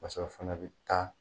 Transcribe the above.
Paseke a fana bɛ taa.